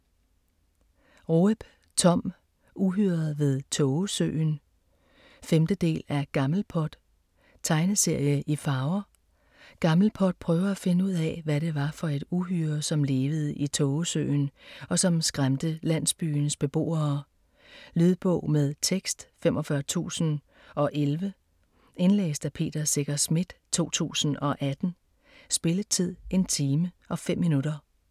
Roep, Thom: Uhyret ved Tågesøen 5. del af Gammelpot. Tegneserie i farver. Gammelpot prøver at finde ud af, hvad det var for et uhyre, som levede i tågesøen, og som skræmte landsbyens beboere. Lydbog med tekst 45011 Indlæst af Peter Secher Schmidt, 2018. Spilletid: 1 time, 5 minutter.